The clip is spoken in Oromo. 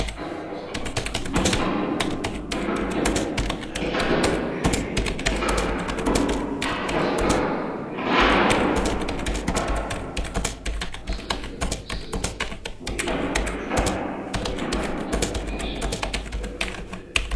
Asxaan mallattoo ibsituu dhaabbata tokkoo yoo ta'u, bifa addaa dhaabbilee barnootaa, paartiilee siyaasaa fi kanneen kana fakkaatan kan bakka bu'udha.